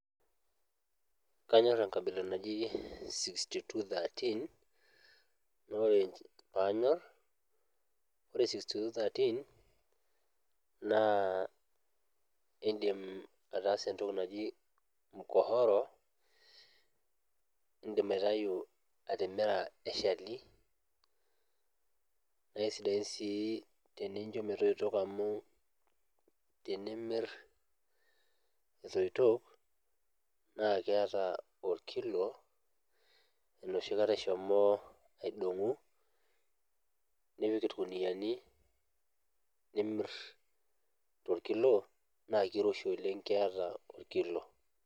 Kanyorr enkabila naji sixty two thirteen nore panyorr ore sixty two thirteen naa indim ataasa entoki naji [csmkohoro indim aitayu atimira eshali naa isidain sii tenincho metoitok amu tinimirr etoito naa keata orkilo enoshi kata ishomo aidong'u nipik irkuniani nimirr torkilo naa kiroshi oleng keeta orkilo.